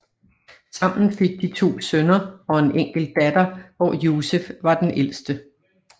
Sammen fik de to sønner og en enkelt datter hvor Joseph var den ældste